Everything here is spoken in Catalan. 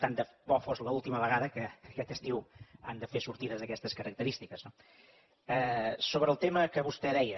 tant de bo fos l’última vegada que aquest estiu han de fer sortides d’aquestes característiques no sobre el tema que vostè deia